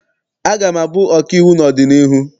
Aga m abụ ọkaiwu n'ọdịnihu.